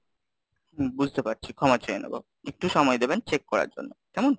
বুঝতে পারছি ক্ষমা চেয়ে নেবো, একটু সময় দেবেন check করার জন্য, কেমন?